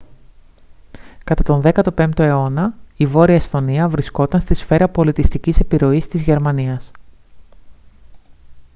κατά τον 15ο αιώνα η βόρεια εσθονία βρισκόταν στη σφαίρα πολιτιστικής επιρροής της γερμανίας